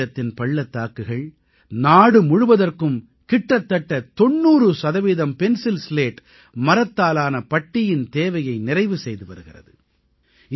கச்மீரத்தின் பள்ளத்தாக்குகள் நாடு முழுவதற்கும் கிட்டத்தட்ட 90 சதவீதம் பென்சில் ஸ்லேட் மரத்தாலான பட்டியின் தேவையை நிறைவு செய்து வருகிறது